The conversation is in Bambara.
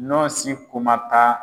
Nɔ si kumata.